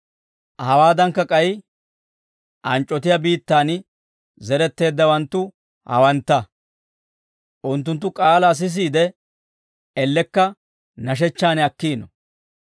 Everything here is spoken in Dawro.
Hawaadankka k'ay anc'c'otiyaa biittaan zeretteeddawanttu hawantta; unttunttu k'aalaa sisiide, ellekka nashechchaan akkiino.